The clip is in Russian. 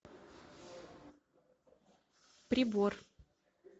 прибор